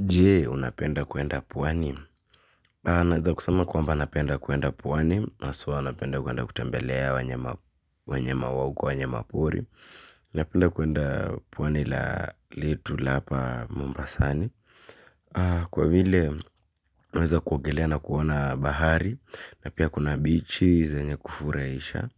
Jee, unapenda kuenda puwani. Naweza kusema kwamba napenda kuenda puwani. Aswa unapenda kuenda kutembelea wenyama wa uko wanyamapori. Napenda kuenda puwani la letu la hapa mumbasani. Kwa vile naweza kuogelea na kuona bahari. Na pia kuna bichi zenye kufuraisha.